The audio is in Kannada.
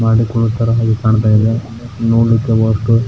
ಮಾಡಿದ್ ನೋಡ್ತಿರೋ ಹಾಗೆ ಕಾಂತಾ ಇದೆ ನೋಡ್ಲಿಕ್ಕೆ ವಸ್ತು --